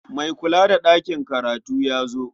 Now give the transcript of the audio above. Mai kula da ɗakin karatu ya zo.